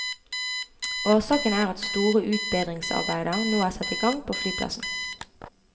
Årsaken er at store utbedringsarbeider nå er satt i gang på flyplassen.